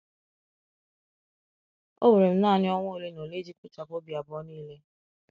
Ọ were m naanị ọnwa ole na ole iji kpochapụ obi abụọ niile.